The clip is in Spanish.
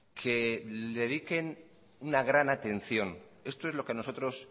que le dediquen una gran atención esto es lo que a nosotros